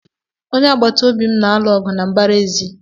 Ndị agbata obi m na-alụ ọgụ na mbara ezi.